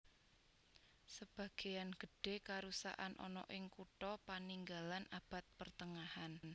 Sebageyan gedhe karusakan ana ing kutha paninggalan Abad Pertengahan